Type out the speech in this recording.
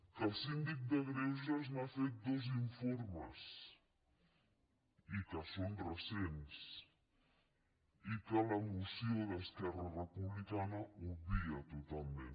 que el síndic de greuges n’ha fet dos informes i que són recents i que la moció d’esquerra republicana obvia totalment